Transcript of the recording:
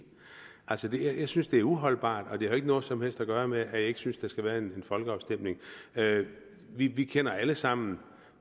jeg synes det er uholdbart og det har jo ikke noget som helst at gøre med at jeg ikke synes at der skal være en folkeafstemning vi vi kender alle sammen